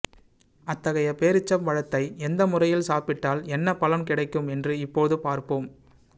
அத்தகைய பேரீச்சம் பழத்தை எந்த முறையில் சாப்பிட்டால் என்ன பலன் கிடைக்கும் என்று இப்போது பார்ப்போம்